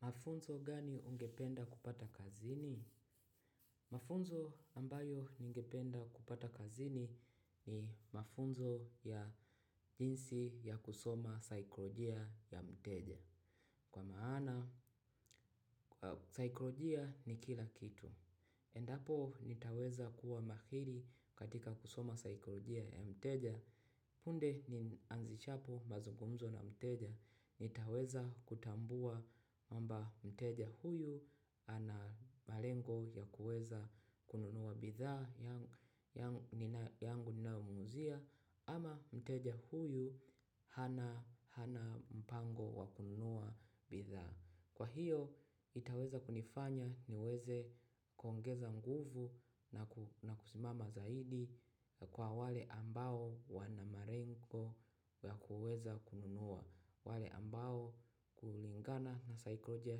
Mafunzo gani ungependa kupata kazini? Mafunzo ambayo ningependa kupata kazini ni mafunzo ya jinsi ya kusoma saikolojia ya mteja. Kwa maana, saikolojia ni kila kitu. Endapo nitaweza kuwa mahiri katika kusoma saikolojia ya mteja. Punde nianzishapo mazungumzo na mteja, nitaweza kutambua kwamba mteja huyu ana malengo ya kuweza kununua bidhaa yangu ninayo muuzia ama mteja huyu hana mpango wa kununua bidhaa. Kwa hiyo itaweza kunifanya niweze kuongeza nguvu na kusimama zaidi kwa wale ambao wana malengo ya kuweza kununua. Wale ambao kulingana na saikolojia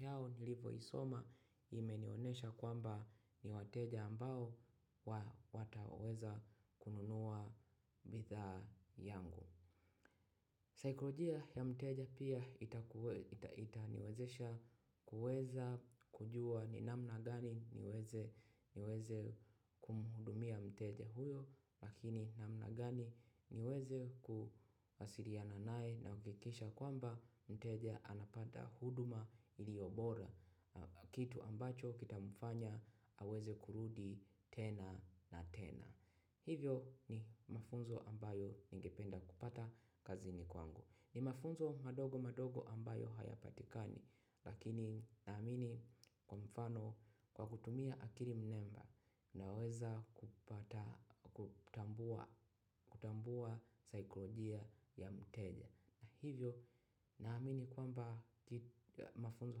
yao nilivo isoma imenionyesha kwamba ni wateja ambao wataweza kununua bidhaa yangu. Saikolojia ya mteja pia itaniwezesha kuweza kujua ni namna gani niweze kumhudumia mteja huyo, makini namna gani niweze kuwasiliana nae na kuhakikisha kwamba mteja anapata huduma iliyobora, kitu ambacho kitamfanya aweze kurudi tena na tena. Hivyo ni mafunzo ambayo ningependa kupata kazini kwangu. Ni mafunzo madogo madogo ambayo haya patikani lakini naamini kwa mfano kwa kutumia akili mnemba naweza kupata kutambua kutambua saikolojia ya mteja. Na hivyo naamini kwamba mafunzo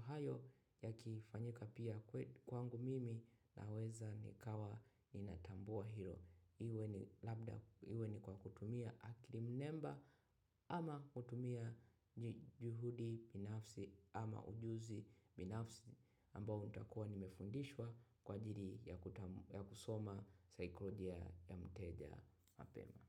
hayo yakifanyika pia kwangu mimi naweza nikawa ninatambua hilo. Iwe ni kwa kutumia akil i mnemba ama kutumia juhudi binafsi ama ujuzi binafsi ambao utakua nimefundishwa kwa ajili ya kusoma saikolojia ya mteja mapema.